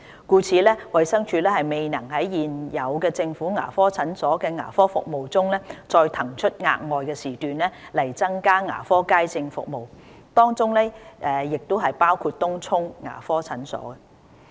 故此，衞生署未能在現有政府牙科診所的牙科服務中，再騰出額外時段來增加牙科街症服務，當中亦包括東涌牙科診所。